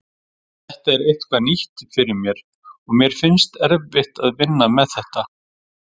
Þetta er eitthvað nýtt fyrir mér og mér finnst erfitt að vinna með þetta.